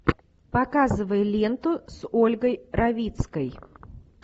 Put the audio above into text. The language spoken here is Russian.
показывай ленту с ольгой равицкой